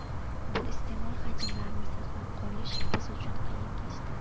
Bu iste’mol hajmlarini saqlab qolish biz uchun qiyin kechdi.